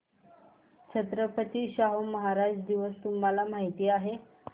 छत्रपती शाहू महाराज दिवस तुम्हाला माहित आहे